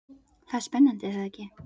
Það er spennandi er það ekki?